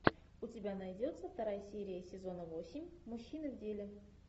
у тебя найдется вторая серия сезона восемь мужчины в деле